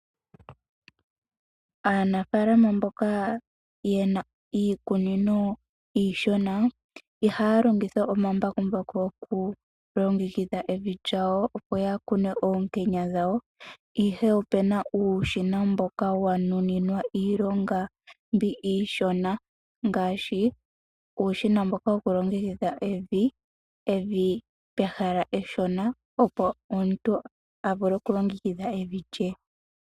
Aanafaalama mboka yena iikunino iishona ihaya longitha omambakumbaku oku longekidhe evi lyawo opo ya kune oonkenya dhawo ihe opuna iishona mboka wa nuninwa iilonga mbi iishona ngaashi uushina mboka woku longekidha evi pehala eshona opo omuntu a vule oku longekidha evi lye.